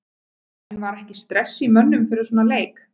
En var ekki stress í mönnum fyrir svona leik?